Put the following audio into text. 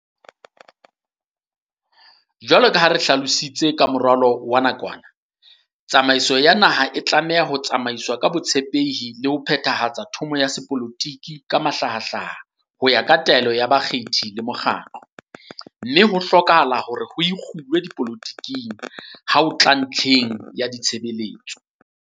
Jwalo ka ha re hlalositse ho moralo wa nakwana, "tsamaiso ya naha e tlameha ho tsamaiswa ka botshepehi le ho phethahatsa thomo ya sepolotiki ka mahlahahlaha ho ya ka taelo ya bakgethi le mokgatlo, mme ho hlokahala hore ho ikgulwe dipoloti keng ha ho tla ntlheng ya ditshebeletso."